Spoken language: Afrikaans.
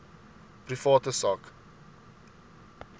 private sak